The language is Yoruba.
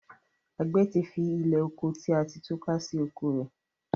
agbe tí fí Ilẹ́oko tí a ti túká sì oko rẹ.